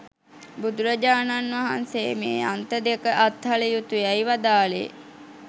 බුදුරජාණන් වහන්සේ මේ අන්ත දෙක අත්හළ යුතුයැයි වදාළේ